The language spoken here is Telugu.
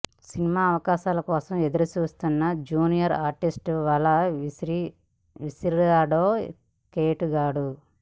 సినిమా అవకాశాల కోసం ఎదురుచూస్తున్న జూనియర్ ఆర్టిస్ట్కి వల విసిరాడో కేటుగాడు